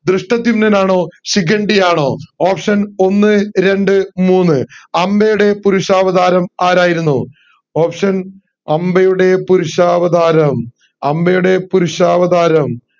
ദൃഷ്ടധ്യുമ്നൻ ആണോ ശിഖണ്ഡി ആണോ option ഒന്ന് രണ്ട് മൂന്ന് അംബയുടെ പുരുഷാവതാരം ആരായിരുന്നു option അംബയുടെ പുരുഷാവതാരം അംബയുടെ പുരുഷാവതാരം